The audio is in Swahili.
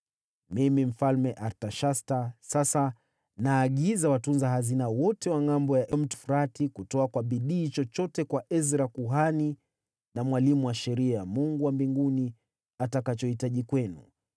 Mimi, Mfalme Artashasta, sasa naagiza watunza hazina wote wa Ngʼambo ya Mto Frati kutoa kwa bidii chochote kwa Ezra kuhani na mwalimu wa Sheria ya Mungu wa mbinguni atakachohitaji kwenu,